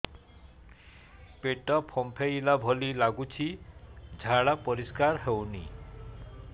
ପେଟ ଫମ୍ପେଇଲା ଭଳି ଲାଗୁଛି ଝାଡା ପରିସ୍କାର ହେଉନି